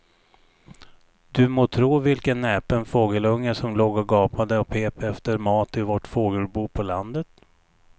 Du må tro vilken näpen fågelunge som låg och gapade och pep efter mat i vårt fågelbo på landet.